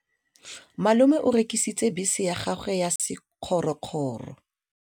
Malome o rekisitse bese ya gagwe ya sekgorokgoro.